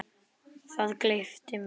Það gleypti mig.